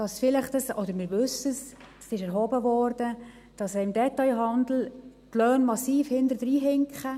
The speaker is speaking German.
Wir wissen – das wurde erhoben –, dass die Löhne im Detailhandel massiv hinterherhinken.